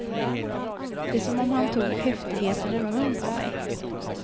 Det är som om han tog häftigheten ur mun på mej.